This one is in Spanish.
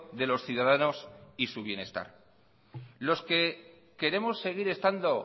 de los ciudadanos y su bienestar lo que queremos seguir estando